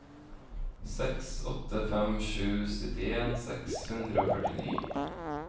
seks åtte fem sju syttien seks hundre og førtini